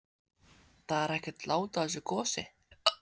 Það er ekkert lát á þessu gosi?